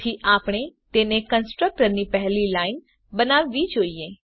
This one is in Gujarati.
તેથી આપણે તેને કન્સ્ટ્રકટર ની પહેલી લાઈન બનાવવી જોઈએ